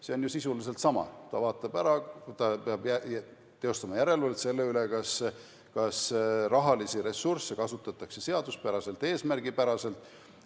See on ju sisuliselt sama: ta vaatab ära, ta peab teostama järelevalvet selle üle, kas rahalisi ressursse kasutatakse seaduspäraselt ja eesmärgipäraselt.